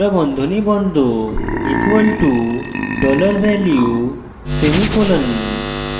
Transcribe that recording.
কোঁকড়া বন্ধনী বন্ধ = $value semicolon